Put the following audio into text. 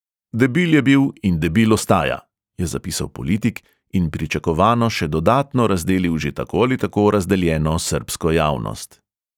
Debil je bil in debil ostaja,' je zapisal politik in pričakovano še dodatno razdelil že tako ali tako razdeljeno srbsko javnost.